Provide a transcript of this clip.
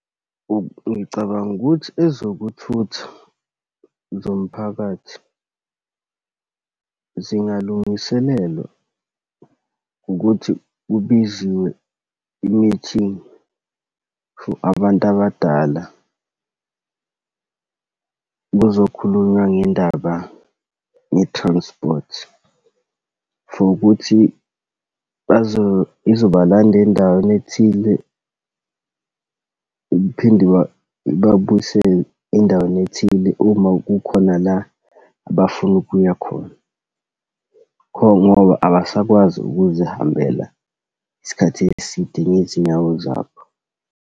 Ngicabanga ukuthi ezokuthutha zomphakathi zingalungiselelwa ngokuthi kubizwe i-meeting for abantu abadala, kuzokhulunywa ngendaba ye-transport, for ukuthi bazo, izobalanda endaweni ethile, iphinde iba, ibabuyisele endaweni ethile uma kukhona la abafuna ukuya khona ngoba abasakwazi ukuzihambela isikhathi eside ngezinyawo zabo.